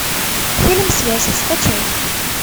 фильм связи скачай